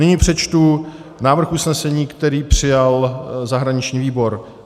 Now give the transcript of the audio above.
Nyní přečtu návrh usnesení, který přijal zahraniční výbor.